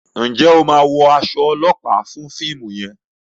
njé o má wọ as olopa fún fíìmù yen?